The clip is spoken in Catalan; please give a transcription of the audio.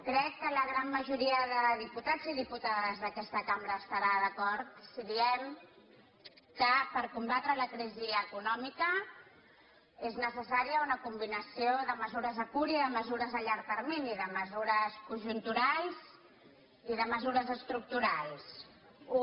crec que la gran majoria de diputats i diputades d’aquesta cambra estarà d’acord si diem que per combatre la crisi econòmica és necessària una combinació de mesures a curt i de mesures a llarg termini de mesures conjunturals i de mesures estructurals un